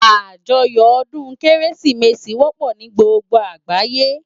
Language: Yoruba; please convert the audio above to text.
Ájòyò òdún Kérésimési wòpò ni gbógbó àgbáyé